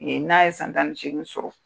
Nin n'a ye san tan ni seegi sɔrɔ